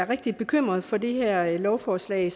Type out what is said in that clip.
rigtig bekymret for det her lovforslag